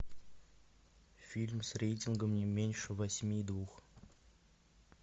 фильм с рейтингом не меньше восьми и двух